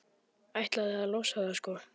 Ætlaði að losa það, sko.